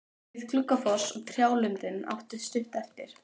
Við Gluggafoss og trjálundinn áttu stutt eftir.